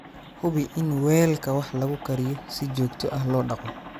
Hubi in weelka wax lagu kariyo si joogto ah loo dhaqo.